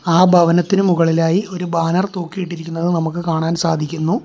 ആ ഭവനത്തിന് മുകളിലായി ഒരു ബാനർ തൂക്കിയിട്ടിരിക്കുന്നത് നമുക്ക് കാണാൻ സാധിക്കുന്നു.